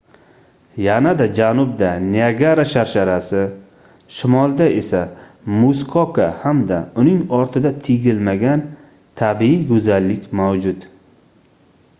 yanada janubda niagara sharsharasi shimolda esa muskoka hamda uning ortida tegilmagan tabiiy goʻzallik mavjud